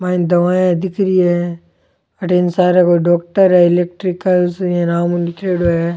माइन दवाइयां दिख री है अठ इंग सार कोई डॉक्टर है एलेक्ट्रोकाल इया नाम लिखेड़ो है।